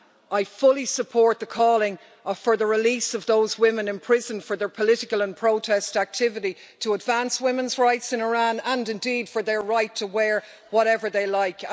I fully support calling for the release of those women in prison for their political and protest activity to advance women's rights in Iran, and indeed their right to wear whatever they like.